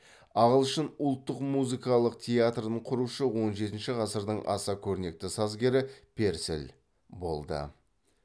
ағылшын ұлттық музыкалық театрын құрушы он жетінші ғасырдың аса көрнекті сазгері перселл болды